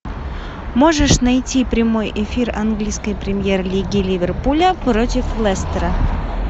можешь найти прямой эфир английской премьер лиги ливерпуля против лестера